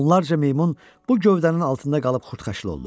Onlarca meymun bu gövdənin altında qalıb xurdxaşır oldu.